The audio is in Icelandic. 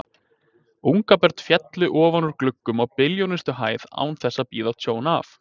Ungabörn féllu ofan úr gluggum á billjónustu hæð án þess að bíða tjón af.